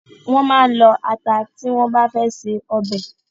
Wọ́n máa lọ ata tí wọ́n bá fe se ọbẹ̀.